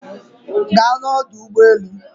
ga na ọdụ ụgbọ enu!